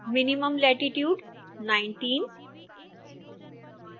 minimum latitude 19